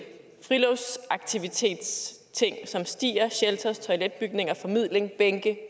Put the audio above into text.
friluftsaktivitetsting som stier shelters toiletbygninger formidling bænke